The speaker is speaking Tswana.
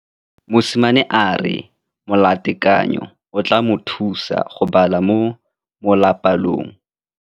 Mosimane a re molatekanyô o tla mo thusa go bala mo molapalong.